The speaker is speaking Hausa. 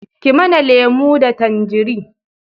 Ki mana lemo da tanjari